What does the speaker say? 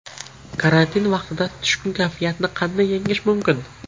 Karantin vaqtida tushkun kayfiyatni qanday yengish mumkin?